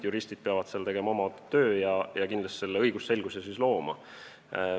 Juristid peavad seal tegema oma töö ja kindlasti selle õigusselguse looma.